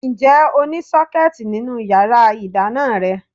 Ǹjẹ́ o ní Sọ́kẹ́tì nínú yàrá ìdáná rẹ?